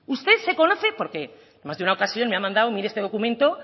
usted se conoce porque en más de una ocasión me ha mandado mire este documento